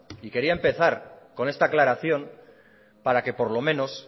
y quería empezar con esta aclaración para que por lo menos